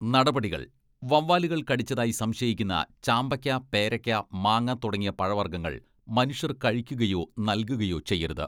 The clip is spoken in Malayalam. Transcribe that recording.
നടപടികൾ വവ്വാലുകൾ കടിച്ചതായി സംശയിക്കുന്ന ചാമ്പക്ക, പേരക്ക, മാങ്ങ തുടങ്ങിയ പഴവർഗ്ഗങ്ങൾ മനുഷ്യർ കഴിക്കുകയോ നൽകുകയോ ചെയ്യരുത്.